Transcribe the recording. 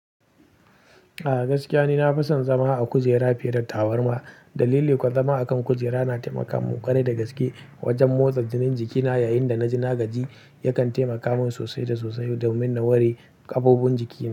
A gaskiya ni na fi son zama a kujera fiye da tabarma. Dalili kuwa zama a kan kujera na taimaka mun ƙwarai da gaske, wajen motsa jinin jikina, yayin da na ji na gaji yakan taimaka min sosai da sosai domin na ware gaɓoɓin jikina.